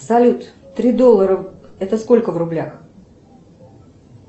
салют три доллара это сколько в рублях